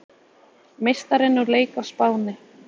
Meistarinn úr leik á Spáni